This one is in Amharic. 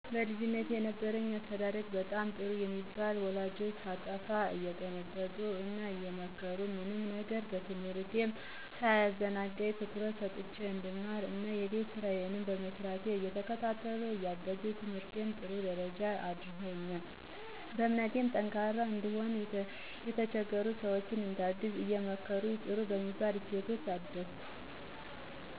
በልጅነቴ የነበረኝ አስተዳደግ በጣም ጥሩ በሚባሉ ወላጆች ሳጠፋ እየተቀጣሁ እና እየተመከርኩ፣ ምንም ነገር ትምህርቴንም ሳያዘናጋኝ ትኩረት ሰጥቸ እንድማር እና የቤት ስራየንም መስራቴን እየተከታተሉ እያገዙኝ በትምህርቴ ጥሩ ደረጃ አድርሰውኛል። በእምነቴም ጠንካራ እንድሆን፣ የተቸገሩ ሰወችን እንዳግዝ አየመከሩኝ በጥሩ በሚባል እሴቶች አደኩ።